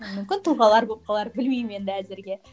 мүмкін тұлғалар болып қалар білмеймін енді әзірге